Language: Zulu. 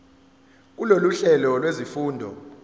kulolu hlelo lwezifundo